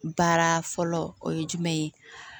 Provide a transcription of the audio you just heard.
Baara fɔlɔ o ye jumɛn ye